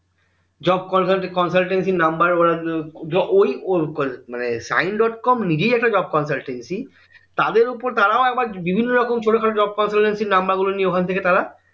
job consultancy number ওরা ওই উহ মানে সাইন ডট কম নিজেই একটা job consultancy তাদের ওপর তারাও একবার বিভিন্ন রকম ছোট খাটো job consultancy নম্বর গুলো নিয়ে ওখান থেকে তারা